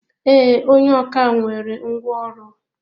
Ee, onye ọkà nwere ngwá ọrụ.